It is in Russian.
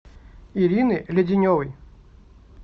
ирины леденевой